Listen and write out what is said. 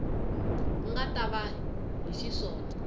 nga ta va hi xiswona